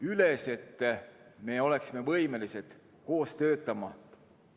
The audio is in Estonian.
... üles, et me oleksime võimelised koos töötama.